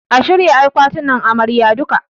A shirya duka akwatinan Amaryar.